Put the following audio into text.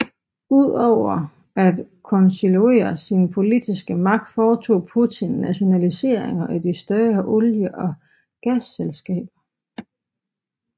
Udover at konsolidere sin politiske magt foretog Putin nationaliseringer af de større olie og gasselskaber